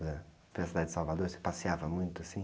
Ãh, pela cidade de Salvador, você passeava muito assim?